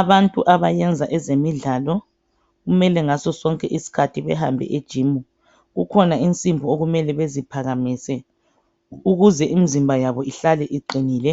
Abantu abayenza ezemidlalo, kumele ngazo sonke iskhathi behambe kujimu. Kukhona isimbi okumele beziphakamise, ukuze imizimba yabo ihlale iqinile.